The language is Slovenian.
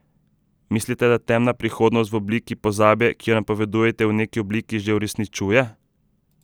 Mislite, da temna prihodnost v obliki pozabe, ki jo napovedujete, v neki obliki že uresničuje?